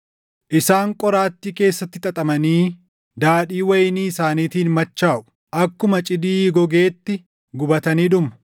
Isaan qoraattii keessatti xaxamanii daadhii wayinii isaaniitiin machaaʼu; akkuma cidii gogeetti gubatanii dhumu.